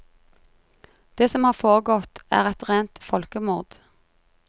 Det som har foregått er et rent folkemord.